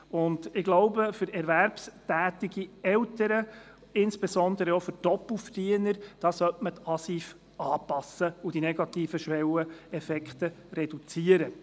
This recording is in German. Ich glaube, für erwerbstätige Eltern, insbesondere auch für Doppelverdiener, sollte man die ASIV anpassen und die negativen Schwelleneffekte reduzieren.